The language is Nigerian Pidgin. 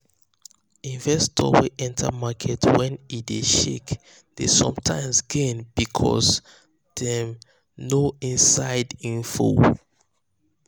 investors wey enter market when e dey shake dey sometimes gain because um dem dem know inside info.